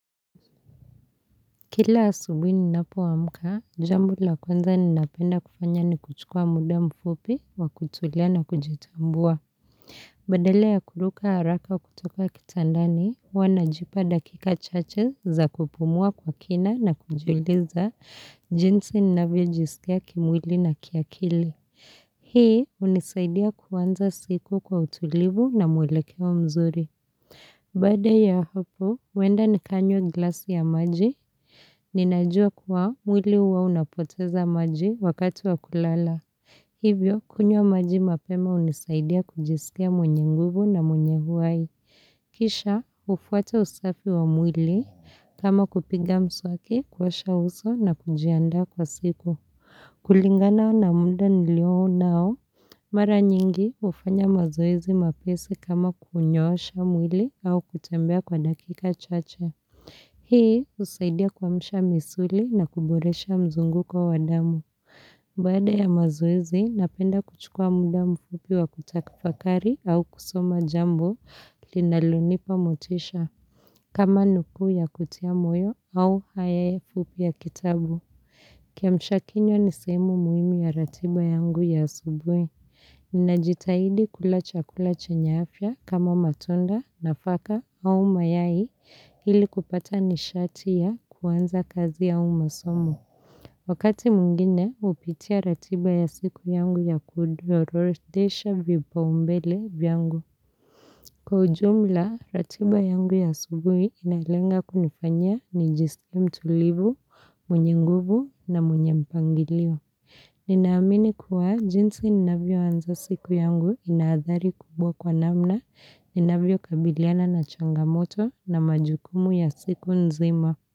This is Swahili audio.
Kila asubini ninapoamka, jambo la kwanza ninapenda kufanya ni kuchukua muda mfupi wa kutulia na kujitambua. Badala ya kuruka haraka kutoka kitandani, huwa najipa dakika chache za kupumua kwa kina na kujiuliza jinsi ninavyojisikia kimwili na kiakili. Hii hunisaidia kuanza siku kwa utulivu na mwelekeo mzuri. Baada ya hapo, huenda nikanywa glasi ya maji Ninajua kuwa mwili huwa unapoteza maji wakati wa kulala Hivyo, kunywa maji mapema hunisaidia kujisikia mwenye nguvu na mwenye uhai Kisha, hufuata usafi wa mwili kama kupiga mswaki, kuosha uso na kujiandaa kwa siku kulingana na muda nilio nao Mara nyingi hufanya mazoezi mepesi kama kunyosha mwili au kutembea kwa dakika chache. Hii husaidia kuamsha misuli na kuboresha mzunguko wa damu. Baada ya mazoezi napenda kuchukua muda mfupi wa kutafakari au kusoma jambo linalonipa motisha. Kama nukuu ya kutia moyo au haya fupi ya kitabu. Kiamsha kinywa ni sehemu muhimu ya ratiba yangu ya asubuhi. Ninajitahidi kula chakula chenye afya kama matunda, nafaka au mayai ili kupata nishati ya kuanza kazi au masomo. Wakati mwingine hupitia ratiba ya siku yangu ya kuorodhesha vipaumbele vyangu. Kwa ujumla, ratiba yangu ya asubuhi inalenga kunifanya nijisikie mtulivu, mwenye nguvu na mwenye mpangilio. Ninaamini kuwa jinsi ninavyoanza siku yangu ina athari kubwa kwa namna ninavyokabiliana na changamoto na majukumu ya siku nzima.